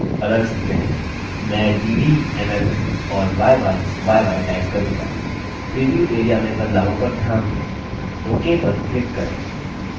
मैं dd mm और yyyy type करूँगा प्रीव्यू area में बदलावों पर ध्यान दें ok पर click करें